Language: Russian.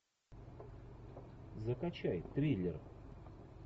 закачай триллер